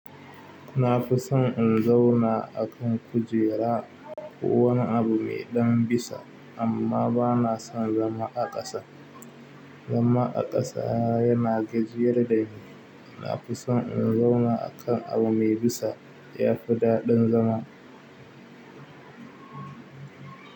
Nafison in zauna akan kujera ko wani abu medan bisa amman banason zama a kasa. Zama a ƙasa yana gajiyar dani. Na fi son in zauna a kan abu mai bisa ya fi daɗin zama.